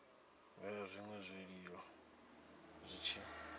vhea zwinwe zwiiimo zwi tshi